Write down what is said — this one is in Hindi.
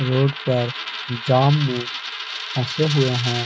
रोड पर जाम में फंसे हुए हैं।